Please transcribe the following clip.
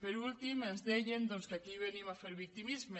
per últim ens deien que aquí venim a fer victimisme